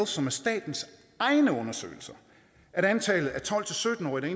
som er statens egne undersøgelser at antallet af tolv til sytten årige